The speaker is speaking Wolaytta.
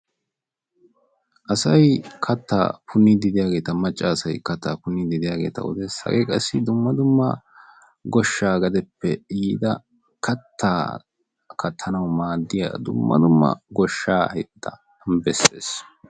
asay katta punniiddi diyageeta macca asay kattaa punniiddi diyageeta odes. hagee qassi dumma dumma goshshaa gadeppe yiida kattaa kattanawu maaddiya dumma dumma qoshshaa ayifeta besses.